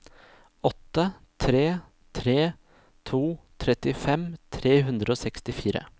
åtte tre tre to trettifem tre hundre og sekstifire